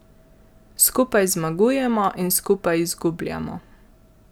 Skupaj zmagujemo in skupaj izgubljamo.